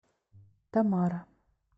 тамара